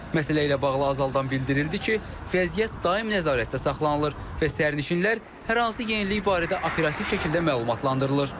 Məsələ ilə bağlı Azaldan bildirildi ki, vəziyyət daim nəzarətdə saxlanılır və sərnişinlər hər hansı yenilik barədə operativ şəkildə məlumatlandırılır.